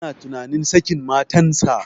Yana tunanin sakin matan sa